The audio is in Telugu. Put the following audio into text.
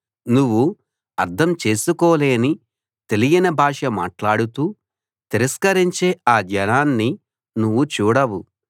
నువ్వు అర్థం చేసుకోలేని తెలియని భాష మాట్లాడుతూ తిరస్కరించే ఆ జనాన్ని నువ్వు చూడవు